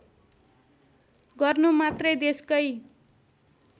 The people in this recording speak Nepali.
गर्नु मात्रै देशकै